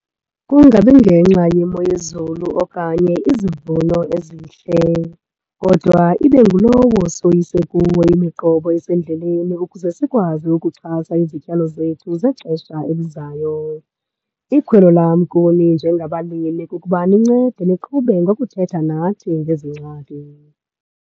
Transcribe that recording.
Kungabi ngenxa yemozulu okanye izivuno ezihle, kodwa ibe ngulowo soyise kuwo imiqobo esendleleni ukuze sikwazi ukuxhasa izityalo zethu zexesha elizayo. Ikhwelo lam kuni njengabalimi kukuba nincede niqhube ngokuthetha nathi ngezi ngxaki.